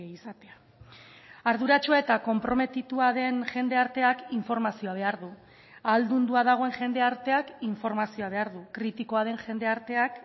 izatea arduratsua eta konprometitua den jendarteak informazioa behar du ahaldundua dagoen jendarteak informazioa behar du kritikoa den jendarteak